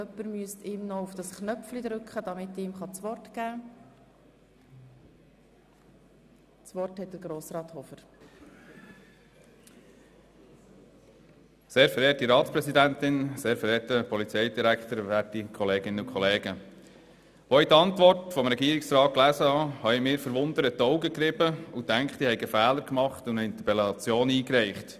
Beim Lesen der Regierungsantwort habe ich mir verwundert die Augen gerieben und gedacht, ich hätte einen Fehler gemacht und eine Interpellation eingereicht.